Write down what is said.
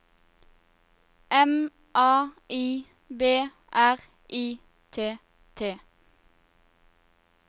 M A I B R I T T